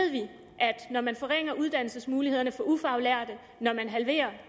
når man forringer uddannelsesmulighederne for ufaglærte og halverer